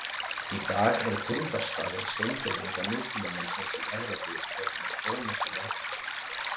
Í dag eru fundarstaðir steingervinga nútímamannsins í Evrópu orðnir þónokkuð margir.